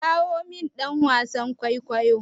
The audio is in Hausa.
Kirawo min dan wasan kwaikwayon!